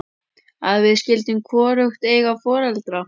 Að við skyldum hvorugt eiga foreldra.